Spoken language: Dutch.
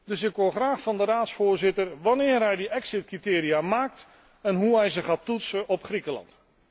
Dus ik hoor graag van de Raadsvoorzitter wanneer hij die exit criteria opstelt, en hoe hij ze gaat toetsen op Griekenland.